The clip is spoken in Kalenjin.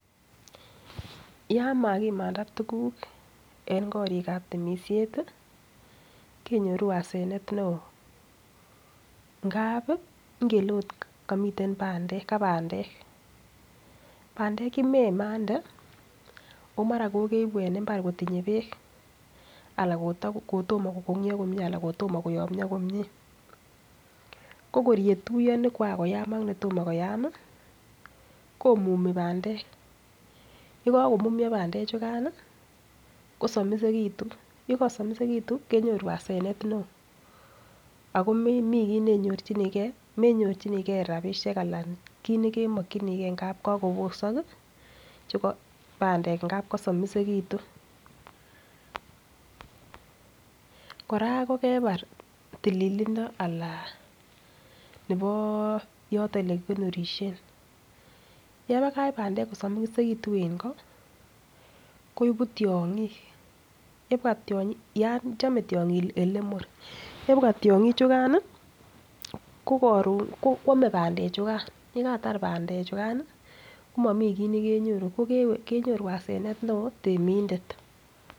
Yan magimanda tuguk en korik ab temisiet kenyoru hasanet neo, ngap ngele oot ka bandek, bandek ye memande o mara kokeibu en mbar kotinye beek ala kotomo kogonyo komie ala kotomo koyomyo komie ko kor yetuiyo ne koran koyam ak netomo koyam komumi bandek ye kagomumyo bandek chugan kosomisegitun ye kosomisegitun kenyoru hasenet neo ago momi kiy nenyorjinige menyoru rabishek anan kiit nekemokinige ngab kokobosok bandek ngab kosomisegitun. Kora kokebar tililindo nebo yoton ole kikonorisien yebakach bandek kosomisegittun en ko koibu tyong'ik, chome tiong'ik ole mur yebwa tiong'ik chukan koame bandek chugan ye katar bandek chukan komomi kiy ne kenyoru kenyoru hasenet neo temindet.